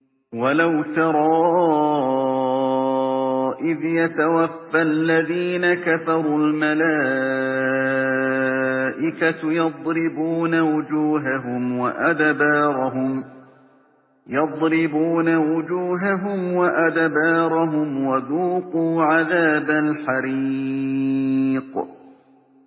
وَلَوْ تَرَىٰ إِذْ يَتَوَفَّى الَّذِينَ كَفَرُوا ۙ الْمَلَائِكَةُ يَضْرِبُونَ وُجُوهَهُمْ وَأَدْبَارَهُمْ وَذُوقُوا عَذَابَ الْحَرِيقِ